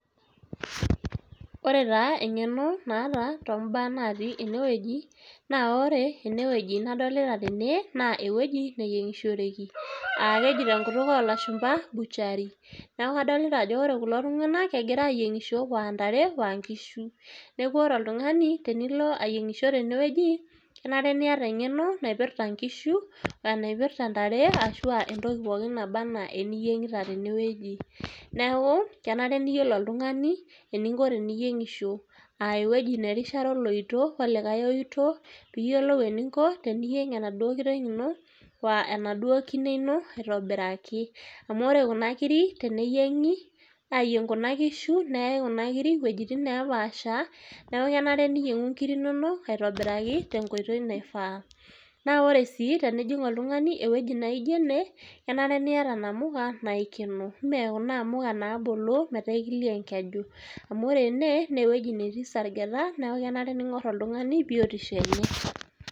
Ore taa eng'eno naataa tombaa natii enewueji naa ore enewueji nadolita tene naa ewueji nayieng'ishoreki. [Aa] keji tenkutuk olashumpa butchery. Neaku adolita ajo ore kulo tung'anak egira ayieng'isho oantare oankishu. Neaku ore oltungani tenilo ayieng'isho tenewueji kenare niata eng'eno naipirta nkishu, naipirta ntare ashuu [aa] entoki pooki nabaa anaa eniyieng'ita tenewueji. Neaku kenare niyiolo oltungani eninko teniyieng'isho, [aa] ewueji nerishare oloito olikae oito piiyolou eninko teniyieng' enaduo kiteng' ino oaa enaduo kine ino aitobiraki, amu ore kuna kiri teniyieng'i aayieng' kuna kishu neyai kuna kiri wuejitin neepaasha neaku kenare niyieng'u nkiri inono aitobiraki tenkoitoi naifaa. Naa oree sii tenijing' oltungani ewueji naijo ene, kenare niyata namuka naikeno, mee kuna amuka naabolo metaaikilio enkeju, amu orene neewueji netii sargeta neaku kenare ning'orr oltung'ani biotisho enye.